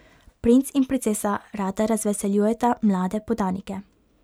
Princ in princesa rada razveseljujeta mlade podanike.